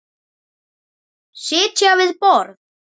Sitja við borð